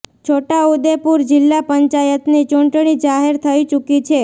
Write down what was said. છોટા ઉદેપુર જિલ્લા પંચાયતની ચૂંટણી જાહેર થઇ ચૂકી છે